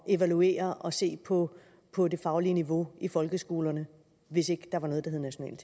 evaluere og se på på det faglige niveau i folkeskolerne hvis ikke der var noget der hed nationale